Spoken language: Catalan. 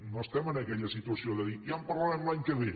no estem en aquella situació de dir ja en parlarem l’any que ve